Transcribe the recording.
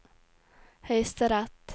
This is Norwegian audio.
høyesterett